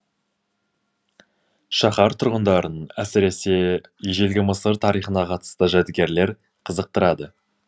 шаһар тұрғындарын әсіресе ежелгі мысыр тарихына қатысты жәдігерлер қызықтырады